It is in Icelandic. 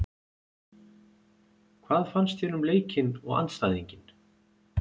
Hvað fannst þér um leikinn og andstæðinginn?